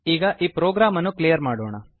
ಈಗ ಈ ಪ್ರೋಗ್ರಾಮ್ ಅನ್ನು ಕ್ಲಿಯರ್ ಮಾಡೋಣ